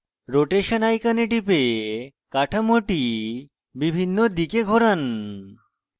rotation icon টিপে কাঠামোটি বিভিন্ন দিকে ঘোরান